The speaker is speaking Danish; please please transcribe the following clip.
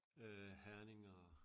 Øh Herning og